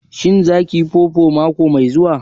Shin za kiyi fufu mako mai zuwa?